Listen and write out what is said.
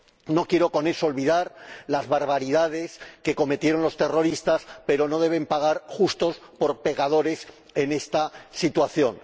No quiero con eso olvidar las barbaridades que cometieron los terroristas, pero no deben pagar justos por pecadores en esta situación.